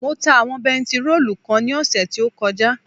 Mo ta àwọn bentiróòlù kan ní ọ̀sẹ̀ tí ó kọjá